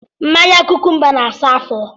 Mmanya kụkụmbá na asa ya afo